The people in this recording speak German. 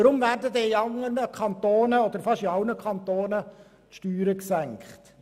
Weshalb werden in fast allen Kantonen die Steuern gesenkt?